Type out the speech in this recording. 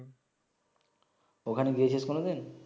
ওখানে গিয়েছিস কোন দিন